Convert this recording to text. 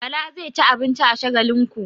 Bala zai ci abinci a Shagalinku.